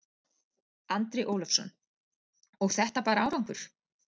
Andri Ólafsson: Og þetta bar árangur?